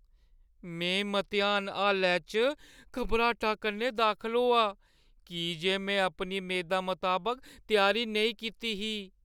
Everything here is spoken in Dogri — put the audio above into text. में मतेहान हालै च घबराटा कन्नै दाखल होआ की जे में अपनी मेदा मताबक त्यारी नेईं कीती ही।